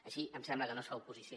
així em sembla que no es fa oposició